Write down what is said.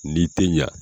N'i tɛ ɲa